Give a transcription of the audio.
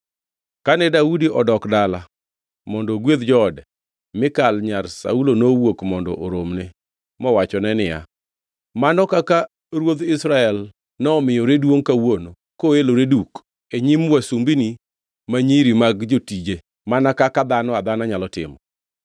Kane Daudi odok dala mondo ogwedh joode, Mikal nyar Saulo nowuok mondo oromne mowachone niya, “Mano kaka ruodh Israel nomiyore duongʼ kawuono koelore duk e nyim wasumbini ma nyiri mag jotije mana kaka dhano adhana nyalo timo!”